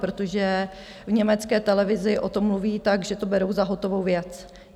Protože v německé televizi o tom mluví tak, že to berou za hotovou věc.